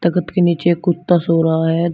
के नीचे एक कुत्ता सो रहा है।